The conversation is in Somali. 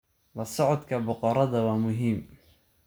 La socodka boqorada waa muhiim.